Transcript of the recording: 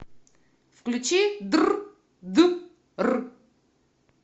включи др д р